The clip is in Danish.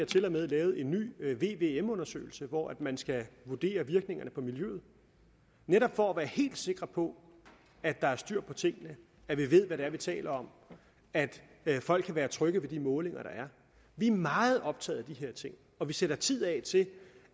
tilmed lavet en ny vvm undersøgelse hvor man skal vurdere virkningerne på miljøet netop for at være helt sikre på at der er styr på tingene at vi ved hvad det er vi taler om at folk kan være trygge ved de målinger der er vi er meget optaget af de her ting og vi sætter tid af til